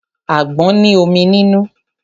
Àgbọn ní omi nínú.